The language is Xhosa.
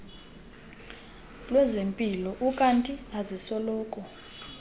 lwezempilo ukanti azisoloko